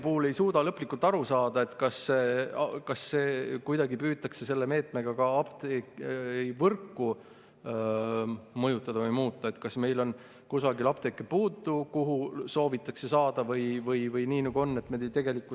… puhul ei suuda lõplikult aru saada, kas kuidagi püütakse selle meetmega ka apteegivõrku mõjutada või muuta, kas meil on kusagil apteeke puudu, kuhu soovitakse neid saada, või nii, nagu on.